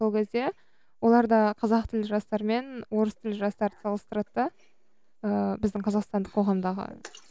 сол кезде олар да қазақ тілді жастармен орыс тілді жастарды салыстырады да ыыы біздің қазақстандық қоғамдағы